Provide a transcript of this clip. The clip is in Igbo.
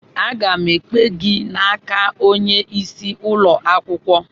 Aga m ekpe gị n'aka onye isi ụlọ akwụkwọ